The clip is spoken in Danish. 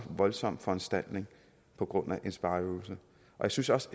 voldsom foranstaltning på grund af en spareøvelse jeg synes også